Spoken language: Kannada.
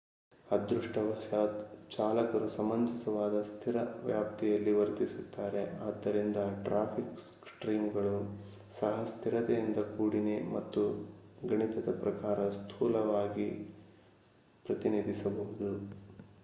ಅದೃಷ್ಟವಶಾತ್ ಚಾಲಕರು ಸಮಂಜಸವಾದ ಸ್ಥಿರ ವ್ಯಾಪ್ತಿಯಲ್ಲಿ ವರ್ತಿಸುತ್ತಾರೆ; ಆದ್ದರಿಂದ ಟ್ರಾಫಿಕ್ ಸ್ಟ್ರೀಮ್‌ಗಳು ಸಹ ಸ್ಥಿರತೆಯಿಂದ ಕೂಡಿನೆ ಮತ್ತು ಗಣಿತದ ಪ್ರಕಾರ ಸ್ಥೂಲವಾಗಿ ಪ್ರತಿನಿಧಿಸಬಹುದು